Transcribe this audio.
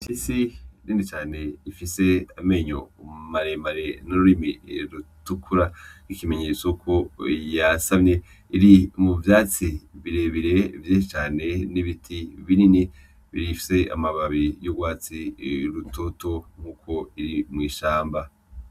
Imfyisi nini cane ifise amenyo maremare n'ururimi rutukura nk'ikimenyetso ko yasamye, iri mu vyatsi birebire vyinshi cane n'ibiti binini bifise amababi y'urwatsi rutoto nkuko biri mw'ishamba.